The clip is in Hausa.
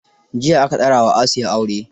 Jiya aka daura wa Asiya aure.